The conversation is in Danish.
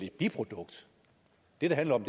et biprodukt det det handler om